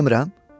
Düz demirəm?